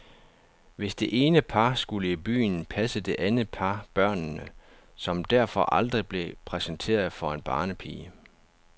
Hvis det ene par skulle i byen, passede det andet par børnene, som derfor aldrig blev præsenteret for en barnepige.